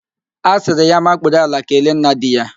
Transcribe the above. A sịrị ya makpuru ala kelee nna di ya